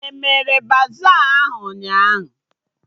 Emere baza ahụ ụnyaahụ?